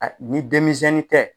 ni denmisɛnni tɛ